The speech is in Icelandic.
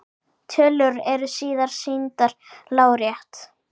Tölur eru síðan sýndar lárétt.